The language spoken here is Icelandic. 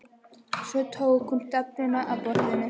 Svo tók hún stefnuna að borðinu.